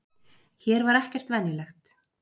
Hér var ekkert venjulegt.